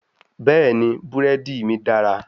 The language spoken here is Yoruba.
Bẹ́ẹ̀ni, búrẹ́dí mí dára.